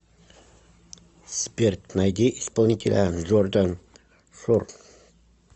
сбер найди исполнителя джордан шор